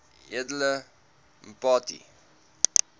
edele mpati